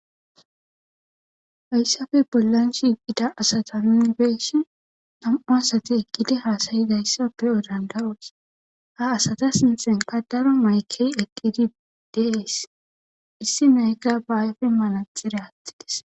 Haysappe bollan shiiqida asata nuni beyishin,nam'u asati shiiqidi haasa'izaysa nuni beyo danda'oos. Ha asata sinthenka daro maykey eqqidi de'ees. Isinezika be ayfen manaxire aathides.